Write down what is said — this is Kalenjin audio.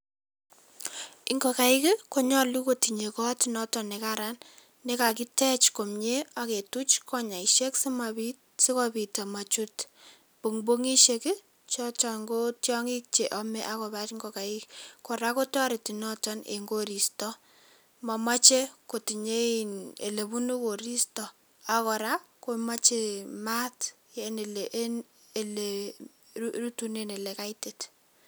Ingokaik konyolu kotinyei kot noto ne karan nekakitech komnye ake tuch konyeshek sikopit komachut pongpongisiek choton ko tiongik cheame ak kobar ingokaik, kora kotoreti noton eng koristo, mamachei kotinye ole bunu koristo ak kora komache maat eng ole rutunen ole kaitit.